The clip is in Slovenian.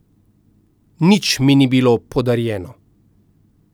Nič mi ni bilo podarjeno.